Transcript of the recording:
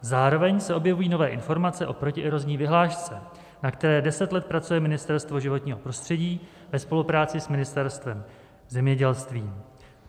Zároveň se objevují nové informace o protierozní vyhlášce, na které deset let pracuje Ministerstvo životního prostředí ve spolupráci s Ministerstvem zemědělství.